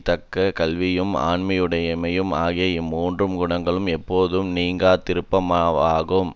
தக்க கல்வியும் ஆண்மையுடைமையும் ஆகிய இம்மூன்று குணங்களும் எப்போதும் நீங்காதிருப்பனவாகும்